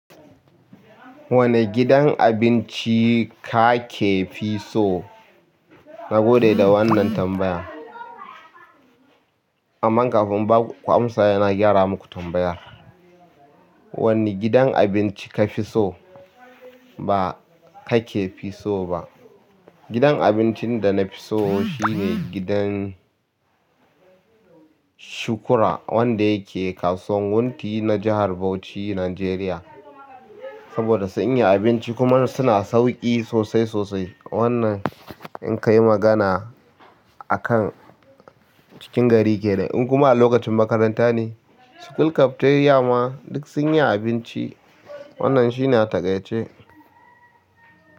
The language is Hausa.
Wane gidan abinci kakefi so? Na gode da wannan tambaya. Aman kafi in baku amsa sai na gyara maku tambaya. Wane gidan abinci ka fi so ba kakefi so ba? Gidan abincin da na fi so shine gidan Shukura wanda yake kasuwan Wunti na jihar Bauchi, Nijeriya. Saboda sun iya abinci kuma suna sauƙi sosai sosai. Wannan in ka yi magana akan cikin gari kenan. In kuma a lokacin makaranta ne, school cafeteria ma duk sun iya abinci. Wannan shi na a taƙaice.